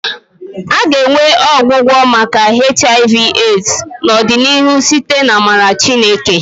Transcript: A ga-enwe ọgwụgwọ maka HIV/AIDS n'ọdịnihu site n'amara Chineke